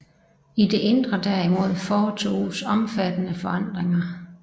I det indre derimod foretoges omfattende forandringer